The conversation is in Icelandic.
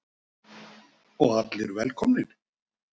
Og allir velkomnir?